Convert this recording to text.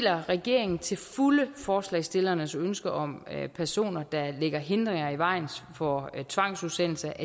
at regeringen til fulde forslagsstillernes ønske om at personer der lægger hindringer i vejen for tvangsudsendelser